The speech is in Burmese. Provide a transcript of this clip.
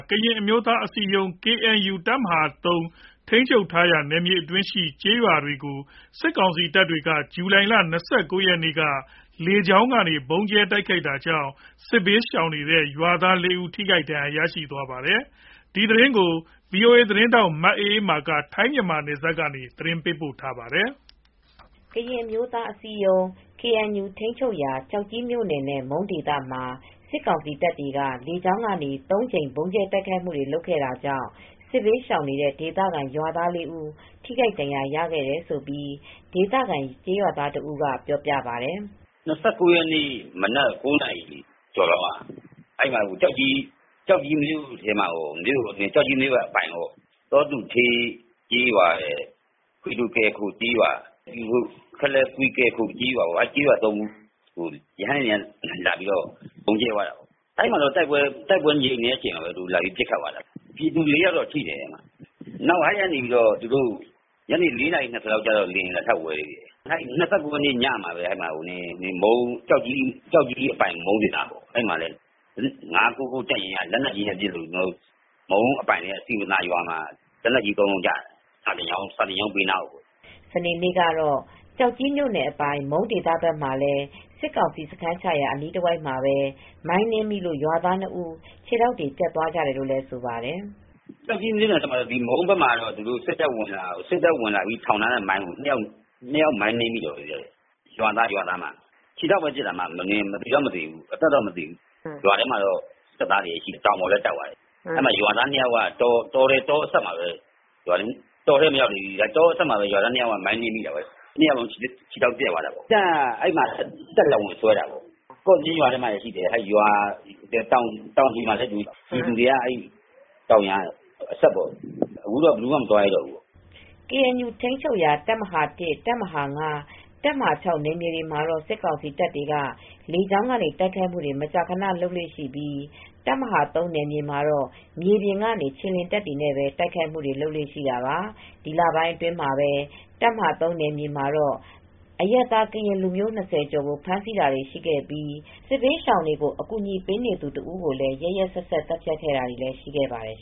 ကရင် အမျိုးသားအစည်းအရုံး ကေအန်ယူ ထိန်းချုပ်ရာ တပ်မဟာ နယ်မြေ ကျောက်ကြီးမြို့နယ်ထဲက ကျေးရွာတွေပေါ်ကို စစ်ကောင်စီတပ်တွေက ဇူလိုင်လ ၂၉ ရက်နေ့ လေကြောင်းကနေ ဗုံးကြဲတိုက်ခိုက်ခဲ့တာကြောင့် စစ်ဘေးရှောင်နေတဲ့ ရွာသား ၄ ဦးထိခိုက်ဒဏ်ရာ ရသွားခဲ့ပါတယ်။ ဗွီအိုအေသတင်းထောက် မအေးအေးမာက သတင်းပေးပို့ထားပါတယ် ။ ကရင်အမျိုးသားအစည်းအရုံး ကေအန်ယူ ထိန်းချုပ်ရာ ကျောက်ကြီးမြို့နယ်နဲ့ မုန်းဒေသမှာ စစ်ကောင်စီတပ်တွေက လေကြောင်းကနေ ၃ ကြိမ် ဗုံးကြဲတိုက်ခိုက် ခဲ့တာကြောင့် စစ်ဘေးရှောင်နေတဲ့ ရွာသား ၄ ဦး ထိခိုက်ဒဏ်ရာရခဲ့တယ်လို့ ဒေသခံ ကျေးရွာသားတဦးက ပြောပါတယ်။ " ၂၉ ရက်နေ့ မနက် ၉ နာရီကျော် အချိန်လောက်က ကျောက်ကြီးမြို့နယ်အပိုင် သောတူဒေးကျေးရွာ ကွီးဒိုကယ်ခို ကျေးရွာ ၊ ခလယ်ကွီးကယ်ခို စတဲ့ အဲဒီရွာ ၃ ရွာကို ရဟတ်ယာဉ်က လာပြီး ဗုံးကြဲသွားတယ်။ အဲဒီမှာတော့ တိုက်ပွဲငြိမ်နေချိန်မှာပဲ လာပြီး ပစ်ခတ်သွားတယ်။ ပြည်သူ ၄ ယောက်ထိသွားတယ်၊ အဲဒီမှာပဲ ညနေ ၄ နာရီ ၂၀လောက်မှာ လေယာဉ် လာထပ်ဝဲသေးတယ်။ ၂၉ ရက်နေ့ညမှာပဲကျောက်ကြီးအပိုင် မုန်းဒေသမှာပဲ ၅၉၉ တပ်ရင်းက လက်နက်ကြီးနဲ့ပစ်လို့ မုန်းဒေသအပိုင် စည်ပင်သာရွာမှာလည်း လက်နက်ကြီး ၃ လုံး ကျတယ်။ စာသင်ကျောင်းဘေးကို ကျတာ။" စနေ့နေ့ကတော့ ကျောက်ကြီးမြို့နယ်အပိုင် မုန်းဒေသဘက်မှာလည်း စစ်ကောင်စီ စခန်းချရာ အနီးတဝိုက်မှာပဲ မိုင်းနင်းမိလို့ ရွာသား ၂ ဦး ခြေထောက်တွေ ပြတ်သွားကြတယ်လို့ ဆိုပါတယ်။ " ကျောက်ကြီးမြို့နယ်အပိုင် မုန်းဒေသဘက်မှာလည်း စစ်တပ်ဝင်လာပြီး ထောင်ထားတဲ့မိုင်းကို ၂ ယောက် မိုင်းနင်းမိလို့ ခြေထောက်ပဲပြတ်သွားတယ်။ လူတော့မသေဘူး ရွာထဲမှာလည်း စစ်သားတွေရှိတယ် တောင်ပေါ်လည်းတက်သွားတယ်၊ အဲဒီမှာ ရွာသား ၂ ယောက်က တောအစပ်မှာပဲ မိုင်းနင်းမိတာပါ။ ၂ ယောက်လုံး ခြေထောက်ပြတ်သွားတယ်။ စစ်တပ်က အဲဒီမှာ တပ်လာစွဲတာပေါ့ ကော့တေးရွာထဲမှာလည်းရှိတယ်။ တောင်ခြေမှာလည်းရှိတယ်၊ တောင်ခြေအစပ်ကို အခုတော့ ဘယ်သူမှ မသွားရဲကြတော့ဘူး။" ကေအန်ယူ ထိမ်းချုပ်ရာ တပ်မဟာ တပ်မဟာ နယ်မြေတွေမှာတော့ စစ်ကောင်စီတပ်တွေက လေကြောင်းကနေ တိုက်ခိုက်မူတွေ မကြာခန လုပ်လေ့ရှိပြီး တပ်မဟာ နယ်မြေမှာတော့ မြေပြင်ကနေ ခြေလျင်တပ်တွေနဲ့ တိုက်ခိုက်မှုတွေကိုပဲ လုပ်လေ့ရှိတာပါ။ ဒီလပိုင်းတွေအတွင်း တပ်မဟာ နယ်မြေမှာတော့ အရပ်သား ကရင်လူမျိုး ၂၀ ကျော်ကို ဖမ်းဆီးတာတွေ ရှိခဲ့ပြီး စစ်ဘေးရှောင်တဦးကို ရက်ရက်စက်စက် သတ်ဖြတ်ခဲ့တာတွေလည်း ရှိနေပါတယ်